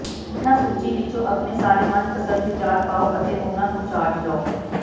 ਹੇਠਾਂ ਸੂਚੀ ਵਿੱਚੋਂ ਆਪਣੇ ਸਾਰੇ ਮਨਪਸੰਦ ਵਿਚਾਰ ਪਾਓ ਅਤੇ ਉਨ੍ਹਾਂ ਨੂੰ ਚਾਰਜ ਲਓ